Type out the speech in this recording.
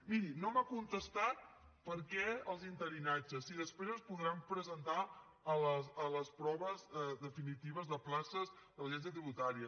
miri no m’ha contestat per què els interinatges si després es podran presentar a les proves definitives de places de l’agència tributària